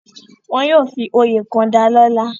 Wọ́n yóò fi oyè kan dalọ́lá.